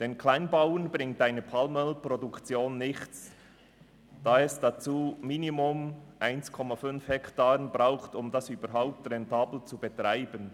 Den Kleinbauern bringt eine Palmölproduktion nichts, da eine Fläche von mindestens 1,5 Hektaren benötigt wird, um die Produktion überhaupt rentabel zu betreiben.